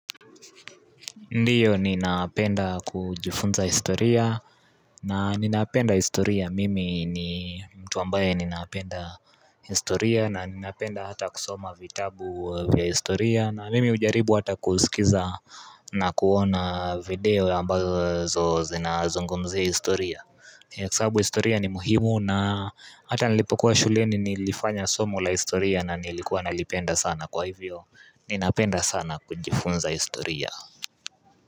Ndiyo ninapenda kujifunza historia na ninapenda historia mimi ni mtu ambaye ninapenda historia na ninapenda hata kusoma vitabu vya historia na mimi ujaribu hata kusikiza na kuona video ambazo zinazungumzia historia kwa sabu historia ni muhimu na hata nalipokuwa shuleni nilifanya somo la historia na nilikuwa nalipenda sana kwa hivyo ninapenda sana kujifunza historia.